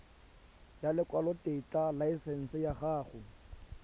ya lekwalotetla laesense ya go